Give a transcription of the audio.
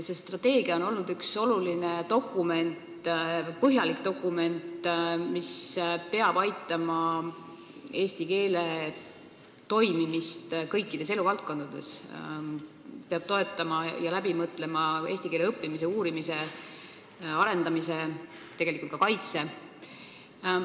See strateegia on põhjalik dokument, mis peab aitama kaasa eesti keele kasutamisele kõikides eluvaldkondades, peab läbimõeldult toetama eesti keele õppimist, uurimist ja tegelikult ka kaitset.